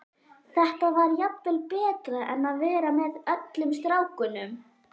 Þetta var jafnvel betra en að vera með öllum strákunum.